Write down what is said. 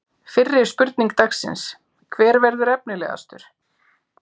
Fyrri spurning dagsins: Hver verður efnilegastur?